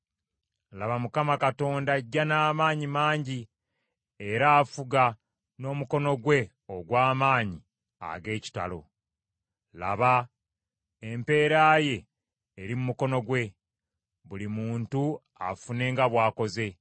Laba, Mukama Katonda ajja n’amaanyi mangi era afuga n’omukono gwe ogw’amaanyi ag’ekitalo. Laba empeera ye eri mu mukono gwe, buli muntu afune nga bw’akoze.